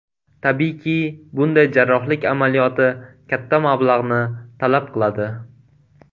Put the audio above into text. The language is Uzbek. Tabiiyki, bunday jarrohlik amaliyoti katta mablag‘ni talab qiladi.